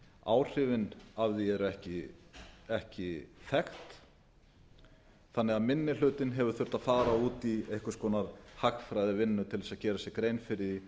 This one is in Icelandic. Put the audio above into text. áhrifin af því eru ekki þekkt þannig að minni hlutinn hefur þurft að fara út í einhvers konar hagfræðivinnu til þess að gera sér bein fyrir